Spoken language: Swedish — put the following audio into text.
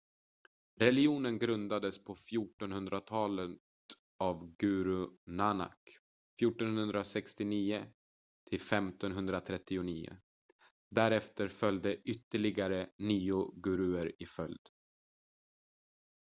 religionen grundades på 1400-talet av guru nanak 1469 - 1539. därefter följde ytterligare nio guruer i följd